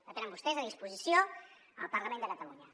la tenen vostès a disposició al parlament de catalunya